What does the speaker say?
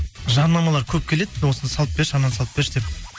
жарнамалар көп келеді осыны салып берші ананы салып берші деп